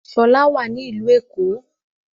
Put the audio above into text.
Ṣọlá wà ní ìlú Èkó